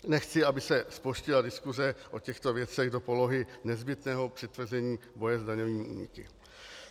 Nechci, aby se zploštila diskuse o těchto věcech do polohy nezbytného přitvrzení boje s daňovými úniky.